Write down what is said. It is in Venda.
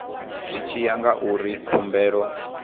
zwi tshi ya ngauri khumbelo